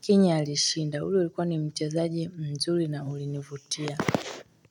Kenya alishinda. Ule ulikuwa ni mchezaji mzuri na ulinivutia.